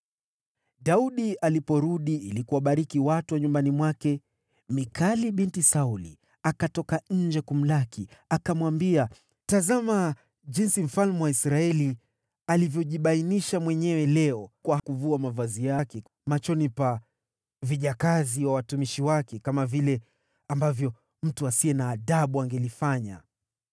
Daudi aliporudi ili kuwabariki watu wa nyumbani mwake, Mikali binti Sauli akatoka nje kumlaki, akamwambia, “Tazama jinsi mfalme wa Israeli alivyojibainisha mwenyewe leo kwa kuvua mavazi yake machoni pa vijakazi wa watumishi wake, kama vile ambavyo mtu asiye na adabu angelifanya!”